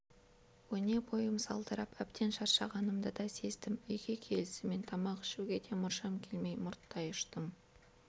өне бойым салдырап әбден шаршағанымды да сездім үйге келісімен тамақ ішуге де мұршам келмей мұрттай ұштым